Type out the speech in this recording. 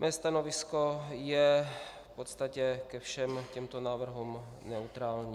Mé stanovisko je v podstatě ke všem těmto návrhům neutrální.